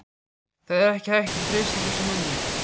Það er ekkert hægt að treysta þessum mönnum.